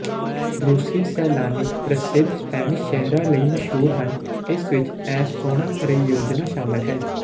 ਰੂਸੀ ਸੈਲਾਨੀ ਪ੍ਰਸਿੱਧ ਸਪੈਨਿਸ਼ ਸ਼ਹਿਰਾਂ ਲਈ ਮਸ਼ਹੂਰ ਹਨ ਇਸ ਵਿੱਚ ਇਹ ਸੋਹਣਾ ਪਰਿਯੋਜਨਾ ਸ਼ਾਮਲ ਹੈ